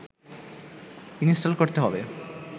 install করতে হবে